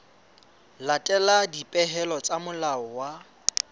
latela dipehelo tsa molao wa